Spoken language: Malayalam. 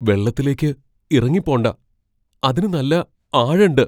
വെള്ളത്തിലേക്ക് ഇറങ്ങി പോണ്ട. അതിന് നല്ല ആഴം ണ്ട്.